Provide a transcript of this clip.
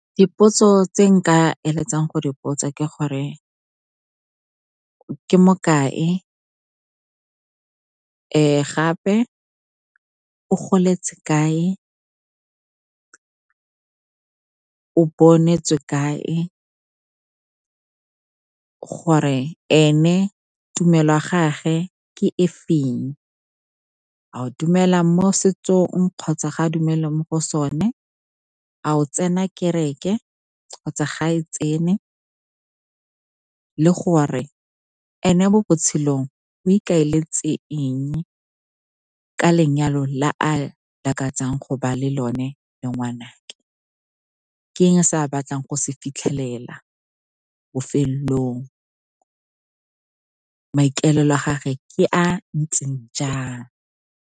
Dipotso tse nka eletsang go di botsa ke gore ke mokae, gape o goletse kae, o bonetswe kae? Gore ene tumelo ya gage ke e feng, a o dumela mo setsong kgotsa ga a dumele mo go sone, a o tsena kereke kgotsa ga e tsene? Le gore ene mo botshelong o ikaeletse eng ka lenyalo le a lakatsa go ba le lone le ngwanake, ke eng se a batlang go se fitlhelela bofelelong? Maikalelo a gage ke a ntseng jang?